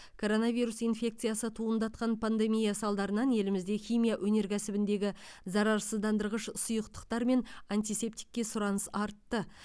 коронавирус инфекциясы туындатқан пандемия салдарынан елімізде химия өнеркәсібіндегі зарарсыздандырғыш сұйықтықтар мен антисептикке сұраныс артты